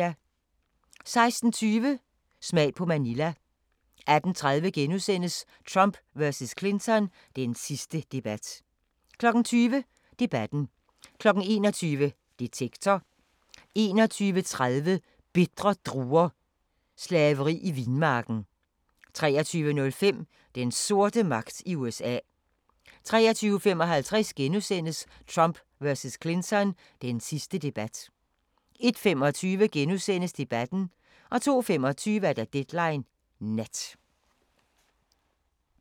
16:20: Smag på Manila 18:30: Trump vs. Clinton – den sidste debat * 20:00: Debatten 21:00: Detektor 21:30: Bitre druer – slaveri i vinmarken 23:05: Den sorte magt i USA 23:55: Trump vs. Clinton – den sidste debat * 01:25: Debatten * 02:25: Deadline Nat